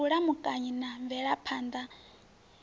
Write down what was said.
wa vhulamukanyi na mvelaphan ḓa